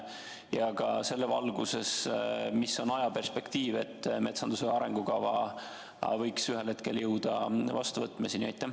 Ja selle valguses küsin ka, milline on ajaperspektiiv: millal me võiks jõuda metsanduse arengukava vastuvõtmiseni?